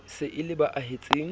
se e le ba ahetseng